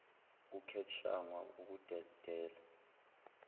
kucat shangwa ukudedela